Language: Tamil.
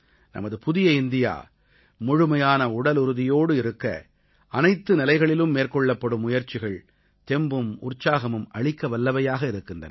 நமது புதிய இந்தியா முழுமையான உடலுறுதியோடு இருக்க அனைத்து நிலைகளிலும் மேற்கொள்ளப்படும் முயற்சிகள் தெம்பும் உற்சாகமும் அளிக்கவல்லவையாக இருக்கின்றன